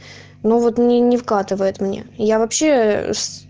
ну вот мне не вкатывает мне я вообще